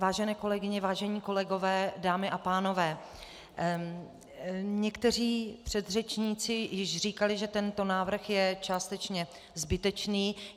Vážené kolegyně, vážení kolegové, dámy a pánové, někteří předřečníci již říkali, že tento návrh je částečně zbytečný.